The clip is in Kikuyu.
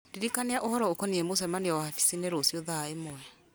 ndirikania ũhoro ũkoniĩ mũcemanio wabici-inĩ rũciũ thaa ĩmwe